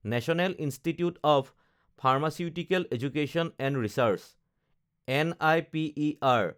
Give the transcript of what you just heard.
national institute of pharmaceutical education and research (NIPER)